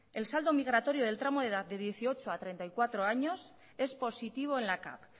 el saldo migratorio del tramo de edad de dieciocho a treinta y cuatro años es positivo en la cav